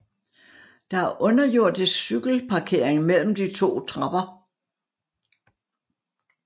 Der er underjordisk cykelparkering mellem de to trapper